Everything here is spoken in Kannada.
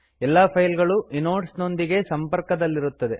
ಎಲ್ಲಾ ಫೈಲ್ಗಳು ಇನೋಡ್ಸ್ ನೊಂದಿಗೆ ಸಂಪರ್ಕದಲ್ಲಿರುತ್ತವೆ